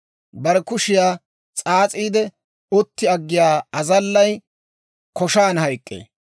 Bare kushiyaa s'aas'iide, utti aggiyaa azallay, koshaan hayk'k'ee.